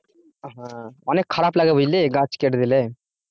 অনেক খারাপ লাগে বুঝলি গাছ কেটে দিলে